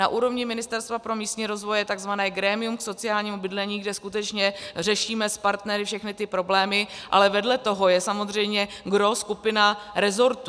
Na úrovni Ministerstva pro místní rozvoj je tzv. grémium k sociálnímu bydlení, kde skutečně řešíme s partnery všechny ty problémy, ale vedle toho je samozřejmě gros skupina rezortů.